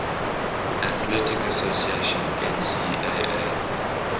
athletic association ncaa